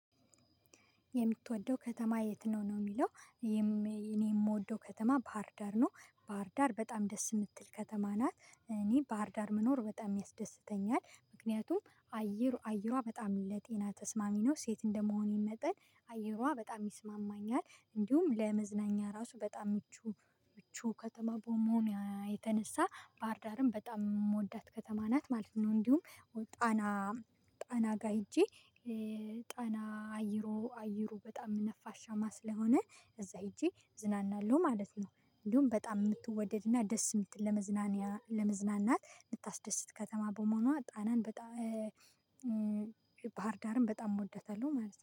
የምትወደው ከተማ የት ነው ነው የሚለው? እኔ የምወደው ከተማ ባህርዳር ነው። ባህርዳር በጣም ደስ የምትል ከተማ ናት እኔ ባህርዳር መኖር በጣም ያስደስተኛል። ምክንያቱም አየር አየሯ በጣም ለጤና ተስማሚ ነው። ሴት እንደመሆኔ መጠን አየሯ በጣም ይስማማኛል። እንዲሁም ለመዝናኛ ራሱ በጣም ምቹ ምቹ ከተማ በመሆኗ የተነሳ ባህርዳርም በጣም የምወዳት ከተማ ናት ማለት ነው። እንዲሁም ጣና ጣና ጋር ሄጄ ጣና አየሩ አየሩ በጣም ነፋሻማ ስለሆነ እዛ ሄጄ እዝናናለሁ ማለት ነው። እንዲሁም በጣም የምትወደድና ደስ የምትል ለመዝናኛ ለመዝናናት የምታስደስት ከተማ በመሆኗ ጣናን በጣም ባህር ዳርም በጣም እወደታለሁ ማለት ነው